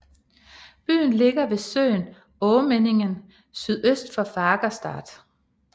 Byen ligger ved søen Åmänningen sydøst for Fagersta